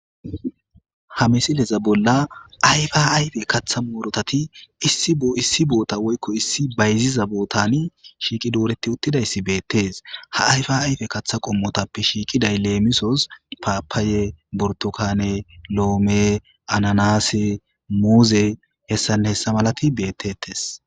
Ha missileza bolla ayfa ayfe kaththa muurutati issi bessan shiqqi dooreti utidayssai bettes ha ayfa ayfe kaththa qommotappe shiqqiday lemissos pappaya, burtukane, loome, annanasse,muuzenne h.h. m bettetes.